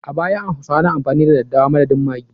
A baya, hausawa na amfani da dadewa madadin maggi.